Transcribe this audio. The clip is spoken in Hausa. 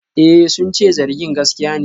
Eh, sun ce zargin gaskiya ne.